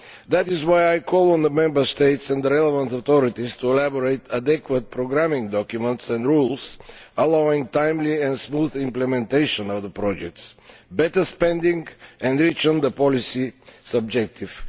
That is why I call on the Member States and the relevant authorities to draw up suitable programming documents and rules allowing timely and smooth implementation of the projects, better spending and the reaching of policy objectives.